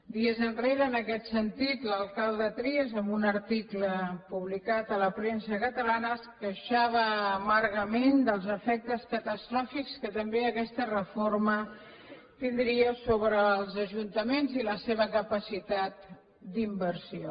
dies enrere en aquest sentit l’alcalde trias en un arti cle publicat a la premsa catalana es queixava amargament dels efectes catastròfics que també aquesta reforma tindria sobre els ajuntaments i la seva capacitat d’inversió